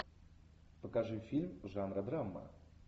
покажи фильм жанра драма